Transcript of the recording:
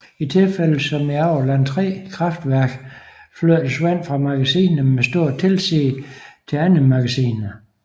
I tilfælde som i Aurland III kraftverk flyttes vand fra magasiner med stort tilsig til andre magasiner